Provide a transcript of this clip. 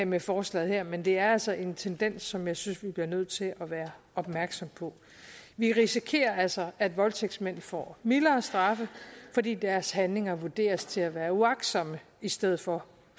med forslaget her men det er altså en tendens som jeg synes vi bliver nødt til at være opmærksomme på vi risikerer altså at voldtægtsmænd får mildere straffe fordi deres handlinger vurderes til at være uagtsomme i stedet for